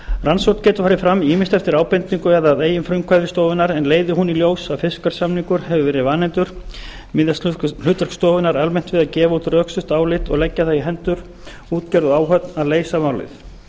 rannsókn getur farið fram ýmist eftir ábendingu eða að eigin frumkvæði stofunnar en leiði hún í ljós að fiskverðssamningur hafi verið vanefndur miðast hlutverk stofunnar almennt við að gefa út rökstutt álit og leggja það í hendur útgerð og áhöfn að leysa málið